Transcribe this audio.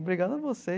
Obrigado a você.